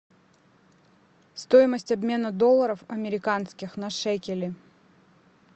стоимость обмена долларов американских на шекели